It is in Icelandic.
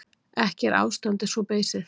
Ekki er ástandið svo beysið.